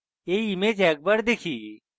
এই image একবার দেখি